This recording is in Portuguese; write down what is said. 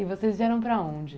E vocês vieram para onde?